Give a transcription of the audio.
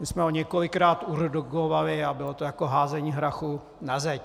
My jsme ho několikrát urgovali a bylo to jako házení hrachu na zeď.